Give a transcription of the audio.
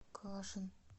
кашин